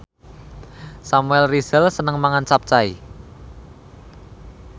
Samuel Rizal seneng mangan capcay